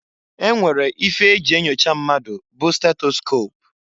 E nwere ife e ji enyocha mmadụ bụ stetoscop.